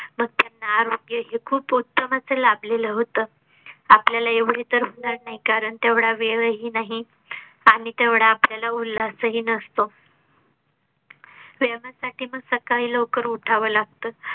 त्यांना आरोग हे खूप उत्तम अस लाभलेल होतं आपल्या ला एवढी तर होणार नाही कारण तेवढा वेळ ही नाही आणि तेवढा आपल्या ला उल्हास ही नसतो साठी मग सकाळी लवकर उठावं लागतं